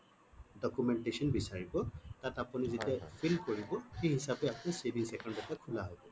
documentation বিচাৰিব তাত আপুনি যেতিয়া fill কৰিব সেই হিচাপে আপুনি savings account এটা খোলা হব